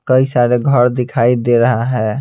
कई सारे घर दिखाई दे रहा है।